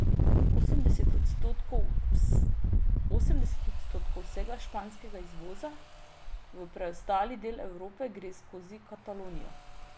Osemdeset odstotkov vsega španskega izvoza v preostali del Evrope gre skozi Katalonijo.